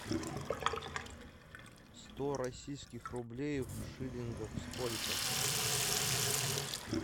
сто российских рублей в шиллингах сколько